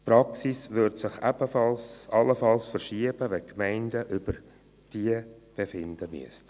Die Praxis würde sich allenfalls verschieben, wenn die Gemeinden über diese befinden müssten.